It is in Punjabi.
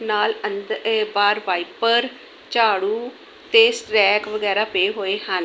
ਨਾਲ ਅੰਦਰ ਬਾਹਰ ਵਾਈਪਰ ਝਾੜੂ ਤੇ ਸਟਰੈਕ ਵਗੈਰਾ ਪਏ ਹੋਏ ਹਨ।